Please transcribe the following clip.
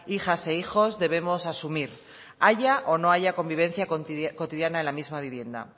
hijas e hijos debemos asumir haya o no haya convivencia cotidiana en la misma vivienda